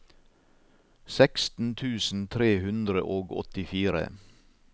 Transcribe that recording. seksten tusen tre hundre og åttifire